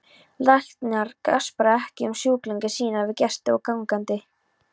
Læknar gaspra ekki um sjúklinga sína við gesti og gangandi.